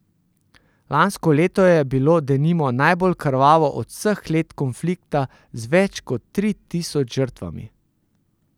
Lansko leto je bilo denimo najbolj krvavo od vseh let konflikta z več kot tri tisoč žrtvami.